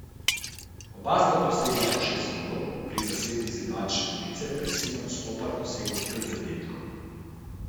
Oba sta dosegla po šest golov, pri zasedbi iz Ivančne Gorice pa je Simon Stopar dosegel pet zadetkov.